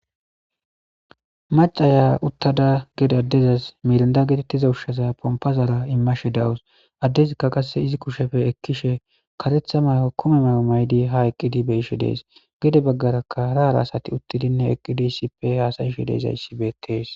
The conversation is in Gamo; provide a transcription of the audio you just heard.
Macaya utada hu'e dadizays mirnda getetiza ushaza pompara imashe dawus iz kusheppe ekishe karetha mayo kumetha mayo mayd beyishe Des , gede bagaraka hara hara asat he ha hasa'ashe dizays betes.